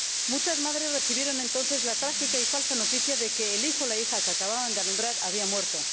Muchas madres recibieron entonces la trágica y falsa noticia de que el hijo o la hija que acababan de alumbrar había muerto.